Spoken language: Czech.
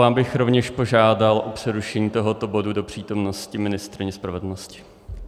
Já bych rovněž požádal o přerušení tohoto bodu do přítomnosti ministryně spravedlnosti.